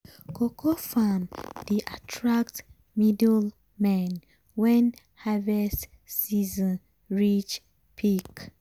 cocoa farm dey attract middlemen when harvest season reach peak.